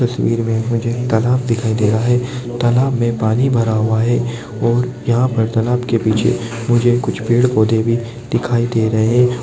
इस तस्वीर में मुझे तालाब दे रहा है तालाब में पानी भरा हुआ है और यहाँ पर तालाब के पीछे मुझे कुछ पेड़ पौधे भी दिखाई दे रहे हैं।